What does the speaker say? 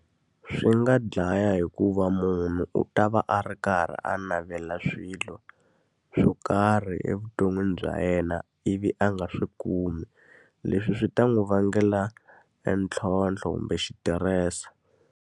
Swi nga dlaya hikuva munhu u ta va a ri karhi a navela swilo swo karhi evuton'wini bya yena, ivi a nga swi kumi. Leswi swi ta n'wi vangela entlhontlho kumbe xitirese.